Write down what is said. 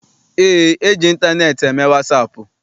Eé, eji ịntaneetị eme wasaapụ.